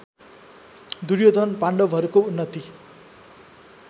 दुर्योधन पाण्डवहरूको उन्नति